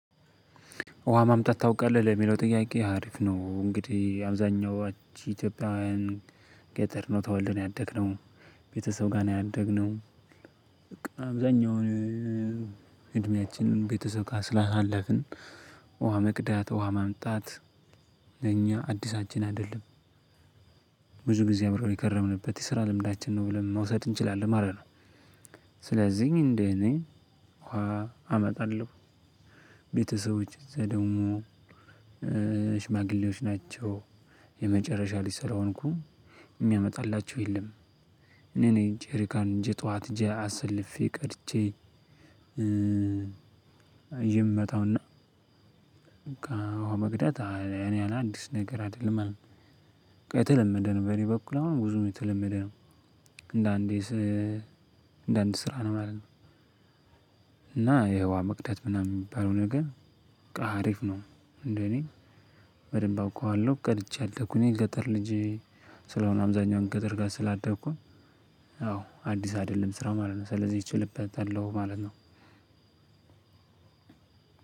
ውሃ ማምጣት ታውቃለህ ለሚለው ጥያቄ አሪፍ ነው እንግዲህ አብዛኛው ኢትዮጵያዊያን። ገጠር ነው ተወልደን ያደግነው ቤተሰብ ጋር ነው ያደግነው። በቃ አብዛኛው እድሜያችን ቤተሰብ ጋር ስላሳለፍን። ውሃ መቅዳት ውሃ ማምጣት ለኛ አዲሳችን አይደለም። ብዙ ጊዜ አብረን የከረምንበት የስራ ልምዳችን ነው ብለን መውሰድ እንችላለን ማለት ነው። ስለዚህ እንደኔ ውሃ አመጣለሁ። ቤተሰቦቼ ደግሞ ሽማግሌዎች ናቸው የመጨረሻ ልጅ ስለሆንኩ የሚያመጣላቸው የለም። እኔ ነኝ ጄሪካን ይዤ ጠዋት ሄጄ አሰልፌ ቀድቼ። የምመጣው እና ውሃ መቅዳት ለኔ አዲስ ነገር አይደለም ማለት ነው። በቃ የተለመደ ነገር ነው በእኔ በኩል አሁን ብዙም የተለመደ ነው። እንደአንድ ስራ ነው ማየው። እና ይሄ ውሃ መቅዳት ሚባለው ነገር አሪፍ ነው። እንደኔ በደንብ አውቀዋለሁ ቀድቼ ያደኩኝ ገጠር ልጄ ስለሆነ አብዛኛውን ገጠር ጋር ስላደኩኝ አዎ አዲስ አይደለም ስራ ማለት ነው ስለዚህ እችልበታለሁ ማለት ነው።